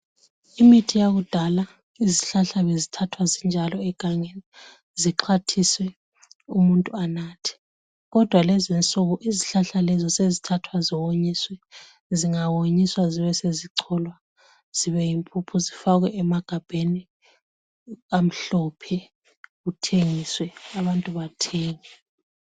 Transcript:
imithi yakudala izihlahla bezithathwa zinjalo egangeni zixhwathiswe umuntu anathe kodwa lezinsuku izihlahla lezo sezithathwa ziwonyiswe zingawonyiswa zibe sezicholwa zibe yimpuphu zifakwe emagabheni amhlophe kuthengiswe abantu bathenge